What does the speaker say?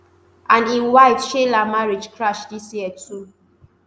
and im wife sheila marriage crash dis year too